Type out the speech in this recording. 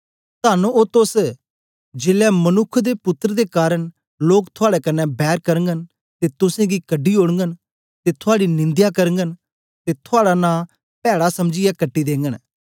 तन्न ओ तोस जीलै मनुक्ख दे पुत्तर दे कारन लोक थुआड़े कन्ने बैर करगन ते तुसेंगी कढी ओड़गन ते थुआड़ी निंदया करगन ते थुआड़ा नां पैड़ा समझीयै कटी देगन